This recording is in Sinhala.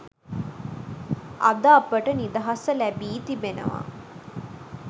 අද අපට නිදහස ලැබී තිබෙනවා